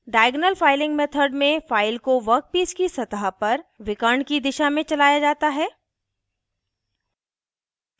diagonal filing method में file को workpiece की सतह पर विकर्ण की दिशा में चलाया जाता है